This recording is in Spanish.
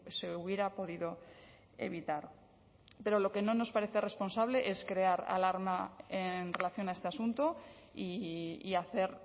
se hubiera podido evitar pero lo que no nos parece responsable es crear alarma en relación a este asunto y hacer